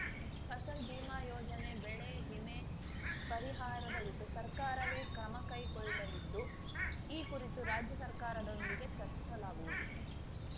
ಫಸಲ್‌ ಬಿಮಾ ಯೋಜನೆ ಬೆಳೆ ವಿಮೆ ಪರಿಹಾರದ ಕುರಿತು ಸರ್ಕಾರವೇ ಕ್ರಮ ಕೈಗೊಳ್ಳಲಿದ್ದು ಈ ಕುರಿತು ರಾಜ್ಯ ಸರ್ಕಾರದೊಂದಿಗೆ ಚರ್ಚಿಸಲಾಗುವುದು